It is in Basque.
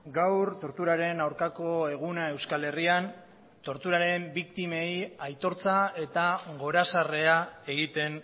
gaur torturaren aurkako eguna euskal herrian torturaren biktimei aitortza eta gorazarrea egiten